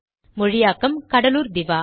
மொழியாக்கம் கடலூர் திவா